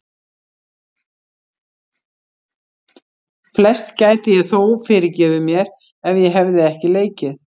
Flest gæti ég þó fyrirgefið mér, ef ég hefði ekki leikið